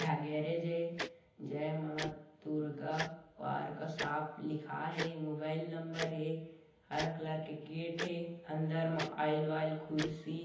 एहा गैरेज ऐ जय मां दुर्गा वार का साप लिखाय हे मोबाइल नंबर हे हरा कलर का गेट हे अन्दर मा आइल वाइल कुर्सी--